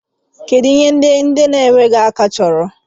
Kedu ihe ndị nkwarụ chọrọ?